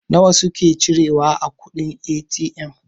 nawa suke cira wa kuɗin A.T.M?